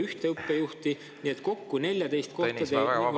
… on pool õppejuhi kohta, pole ühte õppejuhti.